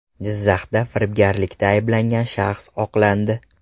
Jizzaxda firibgarlikda ayblangan shaxs oqlandi.